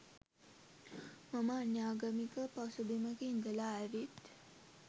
මම අන්‍යාගමික පසුබිමක ඉඳලා ඇවිත්